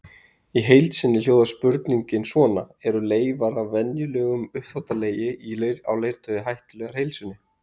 Í heild sinni hljóðar spurningin svona: Eru leifar af venjulegum uppþvottalegi á leirtaui hættulegar heilsunni?